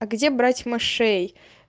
а где брать мышей